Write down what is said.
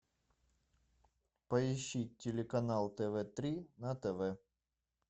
поищи телеканал тв три на тв